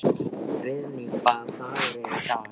Friðný, hvaða dagur er í dag?